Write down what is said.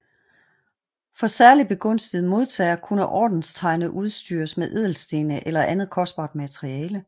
For særlig begunstigede modtagere kunne ordenstegnet udstyres med ædelstene eller andet kostbart materiale